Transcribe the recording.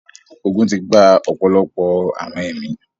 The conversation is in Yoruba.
ogun ti gba ọ̀pọ̀lọpọ̀ àwọn ẹ̀mí.